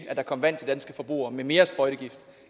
at der kom vand til danske forbrugere med mere sprøjtegift